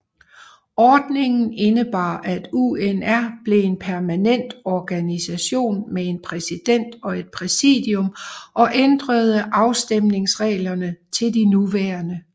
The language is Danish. Ordningen indebar at UNR blev en permanent organisation med en præsident og et præsidium og ændrede afstemningsreglerne til de nuværende